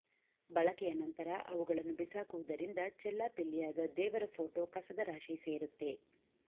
ಬಳಕೆಯ ನಂತರ ಅವುಗಳನ್ನು ಬಿಸಾಕುವುದರಿಂದ ಚೆಲ್ಲಾಪಿಲ್ಲಿಯಾದ ದೇವರ ಫೋಟೋ ಕಸದ ರಾಶಿ ಸೇರುತ್ತೆ